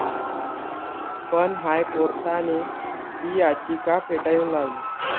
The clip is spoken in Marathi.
पण हायकोर्टाने ही याचिका फेटाळून लावली.